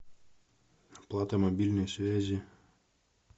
оплата мобильной связи